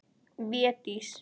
Védís